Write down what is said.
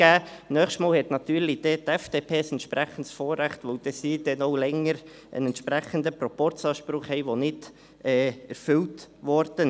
Das nächste Mal hat dann natürlich die FDP ein entsprechendes Vorrecht, da sie dann länger einen entsprechenden Proporzanspruch hat, der nicht erfüllt wurde.